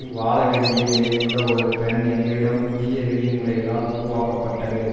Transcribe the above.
வாழவேண்டிய நிலையிலுள்ள ஒரு பெண் எங்களிடம் புதிய விதி முறைகளால் உருவாக்கப்பட்டது